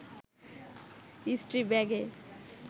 স্ত্রী ব্যাগে